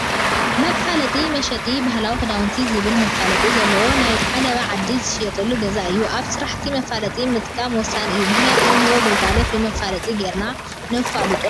መፋለጢታት ፦መሸጢ ባህላዊ ክዳውቲ ዝብል መፋለጢ ዘለዎ ናይ ዓለባ ዓዲ ዝሽየጠሉ ገዛ እዩ። ኣብ ስራሕትና መፋለጢ ምጥቃም ወሳኒ እዩ፤ ምኽንያቱ እንህቦም ግልጋሎት ብመፋለጢ ገይርና ነፋልጦም።